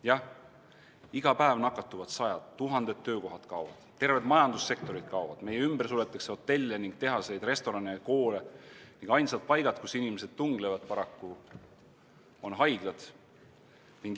Jah, iga päev nakatuvad sajad inimesed, tuhanded töökohad kaovad, terved majandussektorid kaovad, meie ümber suletakse hotelle ning tehaseid, restorane ja koole ning ainsad paigad, kus inimesed tunglevad, on paraku haiglad.